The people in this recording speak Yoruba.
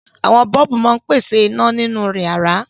Àwọn bọ́ọ́bù máa ń pèsè iná nínú ìyàrá.